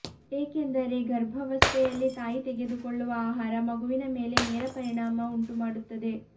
ಏಕೆಂದರೆ ಗರ್ಭವಸ್ತೆಯಲ್ಲಿ ತಾಯಿ ತೆಗೆದುಕೊಳ್ಳುವ ಆಹಾರ ಮಗುವಿನ ಮೇಲೆ ನೇರ ಪರಿಣಾಮ ಉಂಟು ಮಾಡುತ್ತದೆ